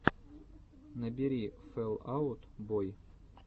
набери фэл аут бой